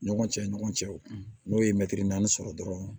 Ɲɔgɔn cɛ ni ɲɔgɔn cɛ n'o ye mɛtiri naani sɔrɔ dɔrɔn